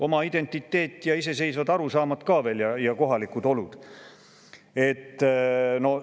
Oma identiteet ja iseseisvad arusaamad ka veel ja kohalikud olud!